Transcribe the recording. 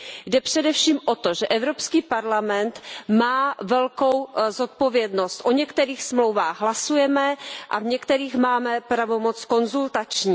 Jde především o to, že Evropský parlament má velkou zodpovědnost, o některých smlouvách hlasujeme a v některých máme pravomoc konzultační.